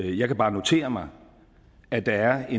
jeg kan bare notere mig at der er